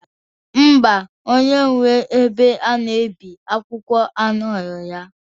Ḿbà onye nwere ebe a na-ebi akwụkwọ anọrọ ya.